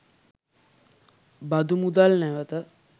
බදු මුදල් නැවත